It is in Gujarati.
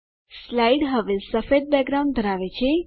સ્લાઇડ હવે સફેદ બેકગ્રાઉન્ડ ધરાવે છે